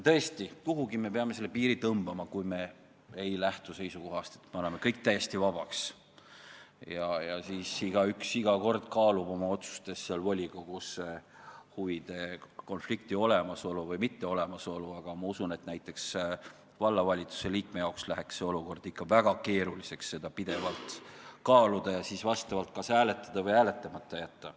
Tõesti, kuhugi me peame selle piiri tõmbama, kui me ei lähtu seisukohast, et me anname kõik täiesti vabaks ja siis igaüks iga kord kaalub volikogus huvide konflikti olemasolu või mitteolemasolu, aga ma usun, et näiteks vallavalitsuse liikme jaoks läheks see olukord ikka väga keeruliseks, kui pidevalt tuleks seda kaaluda ja siis kas hääletada või hääletamata jätta.